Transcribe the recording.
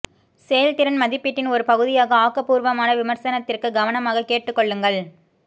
செயல்திறன் மதிப்பீட்டின் ஒரு பகுதியாக ஆக்கபூர்வமான விமர்சனத்திற்கு கவனமாகக் கேட்டுக் கொள்ளுங்கள்